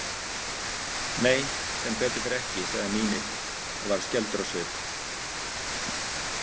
Nei, sem betur fer ekki, sagði Mímir og varð skelfdur á svip.